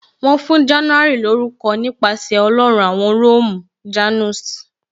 Wọn fún January lórúko nípasẹ̀ Ọlọ́run awon Róòmù "Janus "